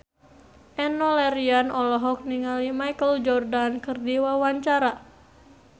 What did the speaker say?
Enno Lerian olohok ningali Michael Jordan keur diwawancara